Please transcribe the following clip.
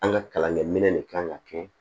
An ka kalankɛminɛn de kan ka kɛ